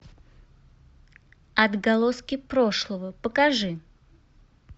отголоски прошлого покажи